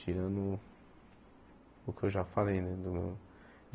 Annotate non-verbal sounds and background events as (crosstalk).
Tirando o que eu já falei, né? (unintelligible)